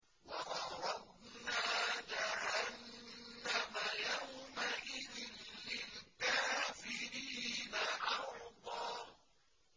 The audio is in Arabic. وَعَرَضْنَا جَهَنَّمَ يَوْمَئِذٍ لِّلْكَافِرِينَ عَرْضًا